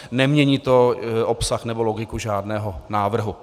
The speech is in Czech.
Nemění to obsah nebo logiku žádného návrhu.